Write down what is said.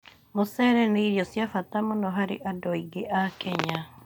Mũcere nĩ irio cia bata mũno harĩ andũ aingĩ a Kenya.